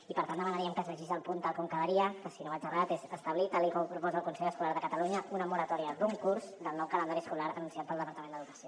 i per tant demanaríem que es llegís el punt tal com quedaria que si no vaig errat és establir tal com proposa el consell escolar de catalunya una moratòria d’un curs del nou calendari escolar anunciat pel departament d’educació